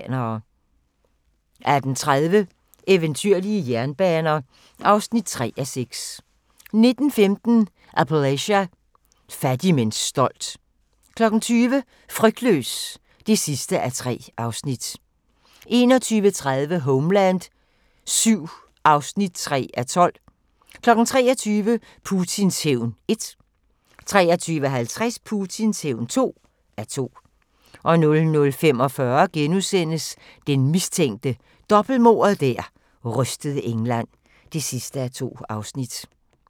18:30: Eventyrlige jernbaner (3:6) 19:15: Appalachia – fattig men stolt 20:00: Frygtløs (3:3) 21:30: Homeland VII (3:12) 23:00: Putins hævn (1:2) 23:50: Putins hævn (2:2) 00:45: Den mistænkte – dobbeltmordet der rystede England (2:2)*